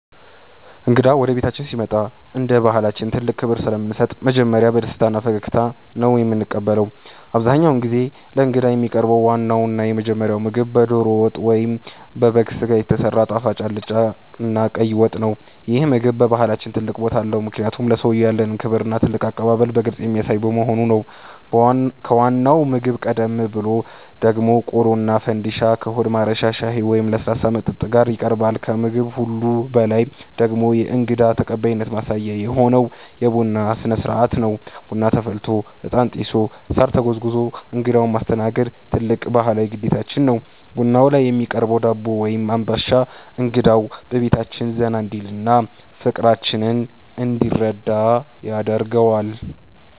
እንግዳ ወደ ቤታችን ሲመጣ እንደ ባሕላችን ትልቅ ክብር ስለምንሰጥ መጀመሪያ በደስታና በፈገግታ ነው የምንቀበለው። አብዛኛውን ጊዜ ለእንግዳ የሚቀርበው ዋናውና የመጀመሪያው ምግብ በደሮ ወጥ ወይም በበግ ሥጋ የተሰራ ጣፋጭ አልጫና ቀይ ወጥ ነው። ይህ ምግብ በባሕላችን ትልቅ ቦታ አለው፤ ምክንያቱም ለሰውየው ያለንን ክብርና ትልቅ አቀባበል በግልጽ የሚያሳይ በመሆኑ ነው። ከዋናው ምግብ ቀደም ብሎ ደግሞ ቆሎና ፈንድሻ ከሆድ ማረሻ ሻይ ወይም ለስላሳ መጠጥ ጋር ይቀርባል። ከምግብ ሁሉ በላይ ደግሞ የእንግዳ ተቀባይነት ማሳያ የሆነው የቡና ሥነ-ሥርዓት ነው። ቡና ተፈልቶ፣ ዕጣን ጢሶ፣ ሳር ተጎዝጉዞ እንግዳውን ማስተናገድ ትልቅ ባሕላዊ ግዴታችን ነው። ቡናው ላይ የሚቀርበው ዳቦ ወይም አምባሻ እንግዳው በቤታችን ዘና እንዲልና ፍቅራችንን እንዲረዳ ያደርገዋል።